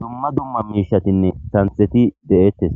dumma dumma miishatinne santheti de'eettes.